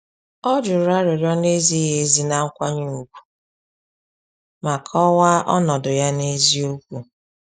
Ọ juru arịrịọ na-ezighị ezi na nkwanye ùgwù ma kọwaa ọnọdụ ya n'eziokwu.